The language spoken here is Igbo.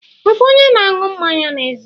Ị bụ onye na-aṅụ mmanya n'ezi?